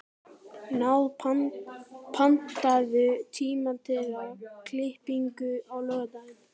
Náð, pantaðu tíma í klippingu á laugardaginn.